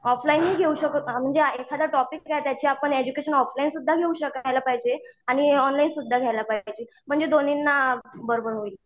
Offline ही घेऊ शकतो म्हणजे एखादा टॉपिक घ्या त्याचे आपण एडज्युकेशन ऑफलाईन सुद्धा घ्यायला पाहिजे. आणि ऑनलाईन सुद्धा घ्यायला पाहिजे. म्हणजे दोन्हींना बरोबर होईल.